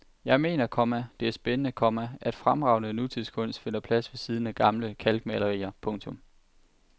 Jeg mener, komma det er spændende, komma at fremragende nutidskunst finder plads ved siden af gamle kalkmalerier. punktum